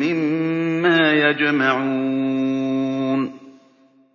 مِّمَّا يَجْمَعُونَ